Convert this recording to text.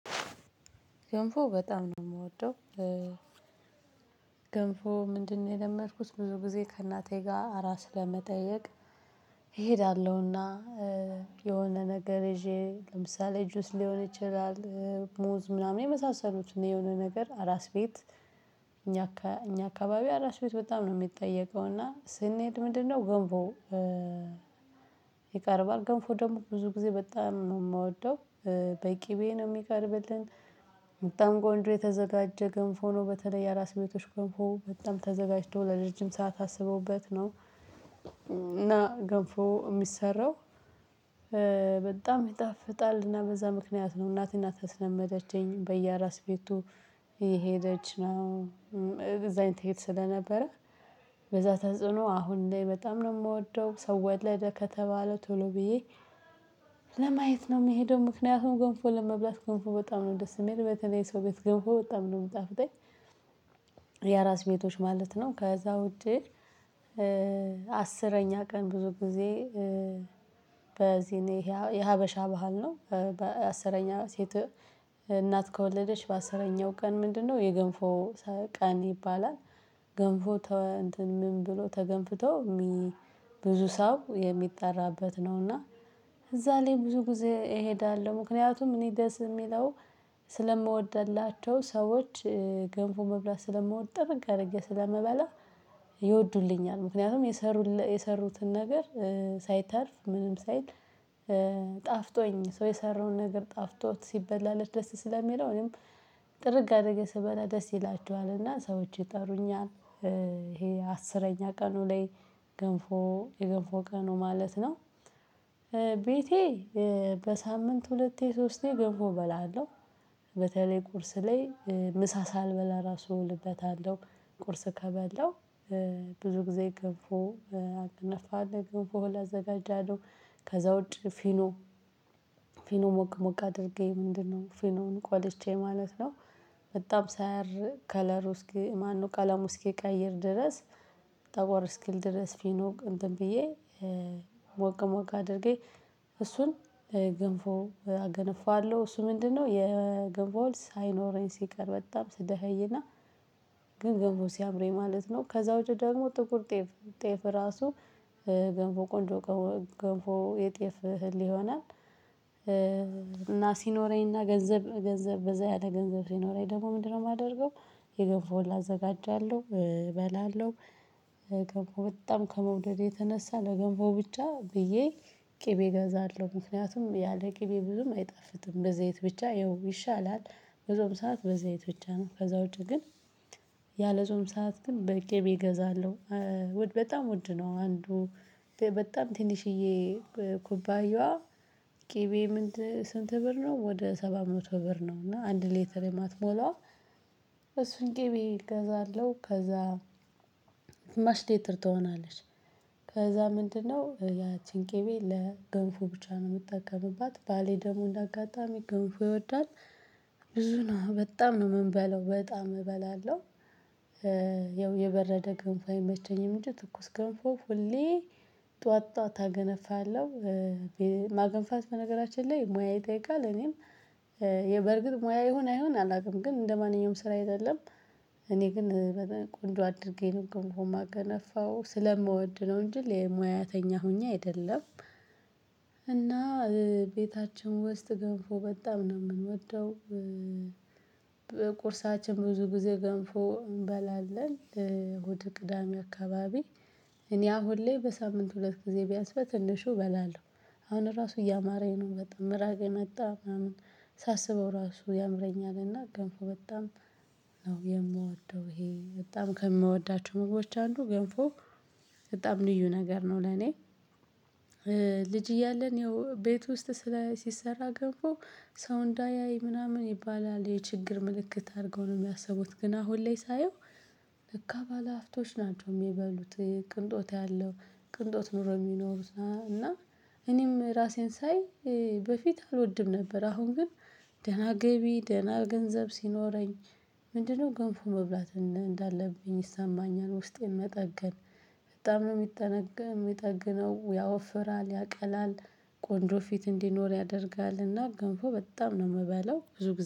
ገንፎ በጣም ነው ምወደው። ገንፎ ምንድነው? የለመድኩት ብዙ ጊዜ ከእናቴ ጋር አራስ ለመጠየቅ። እሄዳለሁና። የሆነ ነገር ይዤ ለምሳሌ ጁስ ሊሆን ይችላል። ሙዝ ምናምን የመሳሰሉት እና የሆነ ነገር አራስ ቤት። እኛ አካባቢ አራስ ቤት በጣም ነው የሚጠየቀው። እና ስንሄድ ምንድነው ገንቦ? ይቀርባል። ገንፎ ደግሞ ብዙ ጊዜ በጣም ነው የምወደው። በቂቤ ነው ሚቀርብልን። በጣም ቆንጆ የተዘጋጀ ገንፍ ነው። በተለይ የአራስ ቤቶች ገንፍ በጣም ተዘጋጅቶ ለረጅም ሰዓት አስበውበት ነው። እና ገንፎ የሚሰራው። በጣም ይጣፍጣል በዛ ምክንያት ነው እናት እናት ተስለመደችኝ በየራስ ቤቱ። የሄደች ነው ትሄድ ስለነበረ። በዛ ተጽዕኖ አሁን ላይ በጣም ነው የምወደው ሰው ወለደ ከተባለው ቶሎ ብዬ ለማየት ነው የምሄደው። ምክንያቱም ገንፎ ለመብላት ገንፎ በጣም ነው ደስ የሚል በተለይ ሰው ቤት ገብቶ በጣም ነው የምታፍጠኝ። የራስ ቤቶች ማለት ነው። ከዛ ውድ። አስረኛ ቀን ብዙ ጊዜ በዚህ እኔ የሀበሻ ባህል ነው። በአስረኛው ሴት እናት ከወለደች በአስረኛው ቀን ምንድነው የገንፎ ቀን ይባላል። ገንፎ እንትን ምን ብሎ ተገንፍቶ። ብዙ ሰው የሚጠራበት ነው። እና እዛ ላይ ብዙ ጊዜ እሄዳለሁ። ምክንያቱም እኔ ደስ የሚለው። ስለምወድላቸው ሰዎች ገንፎ መብላት ስለምወደ ጥበቅ አር ስለመበላ። ይወዱልኛል ምክንያቱም የሰሩትን ነገር ሳይተርፍ ምንም ሳይል። ጣፍጦኝ ሰው የሰራውን ነገር ጣፍቶት ሲበላለት ደስ ስለሚለው እኔም ጥርግ አደረገ ስበላ ደስ ይላችኋልና ሰዎች ይጠሩኛል። ይሄ አስረኛ ቀኑ ላይ ገንፎ የገንፎ ቀኑ ማለት ነው። ቤቴ በሳምንት ሁለቴ ሶስቴ ገንፎ እበላለሁ። በተለይ ቁርስ ላይ ምሳ ሳልበላ ራሱ እውልበታለሁ። ቁርስ ከበላው ብዙ ጊዜ ገንፍ አገነፋለሁ ገንፎ አዘጋጃለሁ። ከዛ ውጪ ፊኖ ፊኖ ሞቅ ሞቅ አድርጌ ምንድነው ፊኖን ቆልቼ ማለት ነው። በጣም ሳያር ከለሩ እስኪ ማነው ቀለሙ እስኪቀይር ድረስ። ጠቆር እስኪል ድረስ ፊኖ እንትን ብዬ። ሞቅ ሞቅ አድርጌ። እሱን ገንፎ አገነፋለሁ። እሱ ምንድነው የገንፎ ወልድ ሳይኖረኝ ሲቀር በጣም ስደኸይና። ግን ግንቦል ሲያምረኝ ማለት ነው። ከዛ ውጪ ደግሞ ጥቁር ጤፍ። ጤፍ ራሱ ገንፎ ቆንጆ ገንፎ የጤፍ እህል ይሆናል። እና ሲኖረኝ እና ገንዘብ ገንዘብ በዛ ያለ ገንዘብ ሲኖረኝ ደግሞ ምንድነው የማደርገው? የገንፎ እህል አዘጋጃለሁ እበላለሁ። ገንፎ በጣም ከመውደድ የተነሳ ለገንፎ ብቻ ብዬ። ቅቤ ገዛለሁ ምክንያቱም ያለ ቅቤ ብዙም አይጣፍጥም በዚህ አይነት ብቻ ይሻላል። ብዙም ሰዓት በዘይት ብቻ ነው ከዛ ውጪ ግን። ያለ ዞም ሰዓት ግን በቂ ቢገዛለሁ። ውድ በጣም ውድ ነው። አንዱ በጣም ትንሽዬ ኩባያዋ ቅቤ ምን ስንት ብር ነው? ወደ ሰባ መቶ ብር ነው። እና አንድ ሊተር የማትሞላው። እሱን ቂቤ እገዛለሁ ከዛ ግማሽ ሊትር ትሆናለች። ከዛ ምንድነው ያቺን ቂቤ ለገንፎ ብቻ ነው የምጠቀምባት። ባሌ ደሞ እንዳጋጣሚ ገንፎ ይወዳል። ብዙ ነው በጣም ነው የምንበለው በጣም እበላለሁ። ያው የበረደ ገንፎ አይመቸኝም እንጂ ትኩስ ገንፎ ሁሌ ጠዋት ጠዋት አገነፋለሁ። ማገንፋት በነገራችን ላይ ሙያ ይጠይቃል። እኔም በርግጥ ሙያ ይሁን አይሁን አላውቅም ግን እንደማንኛውም ስራ አይደለም። እኔ ግን ቆንጆ አድርጌ ነው ግን ሆም አገነፋው ስለምወድ ነው እንጂ ሙያተኛ ሆኜ አይደለም። እና ቤታችን ውስጥ ገብሮ በጣም ነው የምንወደው። በቁርሳችን ብዙ ጊዜ ገንፎ እንበላለን። ሆድ ቅዳሜ አካባቢ እኔ አሁን ላይ በሳምንት ሁለት ጊዜ ቢያንስ በትንሹ እበላለሁ። አሁን ራሱ እያማረኝ ነው በጣም ምራቅ መጣ ምናምን። ሳስበው ራሱ ያምረኛልና ገንፎ በጣም ነው የምወደው። ይሄ በጣም ከምወዳቸው ምግቦች አንዱ ገንፎ። በጣም ልዩ ነገር ነው ለኔ። ልጅ እያለን ያው ቤት ውስጥ ስለ ሲሰራ ገብቶ ሰው እንዳያይ ምናምን ይባላል የችግር ምልክት አድርገው ነው የሚያስቡት። ግን አሁን ላይ ሳየው ልክ አባላቶች ናቸው የሚበሉት። ቅንጦት ያለው ቅንጦት ኖሮ የሚኖሩት እና። እኔም ራሴን ሳይ በፊት አልወድም ነበር አሁን ግን ደህና ገቢ ደህና ገንዘብ ሲኖረኝ። ምንድነው ገንፎ መብላት እንዳለብኝ ይሰማኛል። ውስጤን መጠገን። በጣም ነው የሚጠገን የሚጠግነው ያወፍራል ያቀላል። ቆንጆ ፊት እንዲኖር ያደርጋልና። ገንፎ በጣም ነው የምበለው ብዙ ጊዜ